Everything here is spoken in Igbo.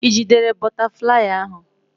Ị jidere bụtaflịyị ahụ?